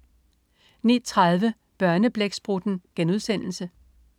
09.30 Børneblæksprutten*